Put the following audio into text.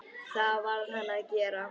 Það varð hann að gera.